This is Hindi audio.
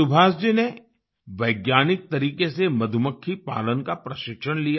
सुभाष जी ने वैज्ञानिक तरीक़े से मधुमक्खी पालन का प्रशिक्षण लिया